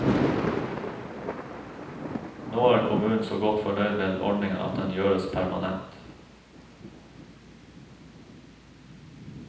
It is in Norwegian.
Nå er kommunen så godt fornøyd med ordningen at den gjøres permanent.